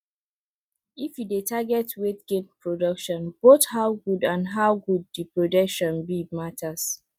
if you dey target weight gain productionboth how good and how good dey production be matters